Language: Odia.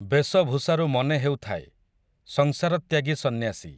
ବେଶ ଭୂଷାରୁ ମନେହେଉଥାଏ, ସଂସାରତ୍ୟାଗୀ ସନ୍ନ୍ୟାସୀ ।